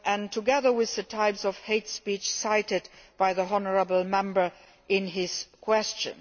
together with the types of hate speech cited by the honourable Member in his question.